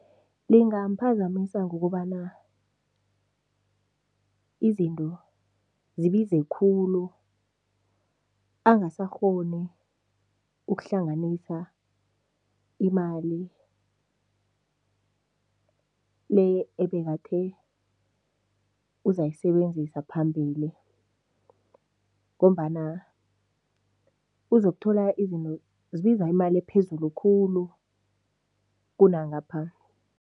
Lingamphazamisa ngokobana izinto zibize khulu angasakghoni ukuhlanganisa imali le ebekathe uzayisebenzisa phambili ngombana uzokuthola izinto zibiza imali ephezulu khulu kunangapha.